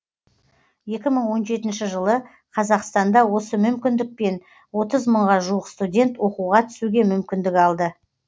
екі мың он жетінші жылы қазақстанда осы мүмкіндікпен отыз мыңға жуық студент оқуға түсуге мүмкіндік алды